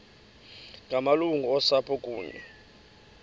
ngamalungu osapho kunye